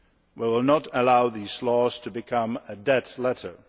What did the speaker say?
We will not allow these laws to become a dead letter.